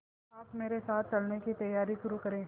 आप मेरे साथ चलने की तैयारी शुरू करें